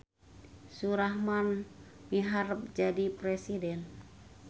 Surahman miharep jadi presiden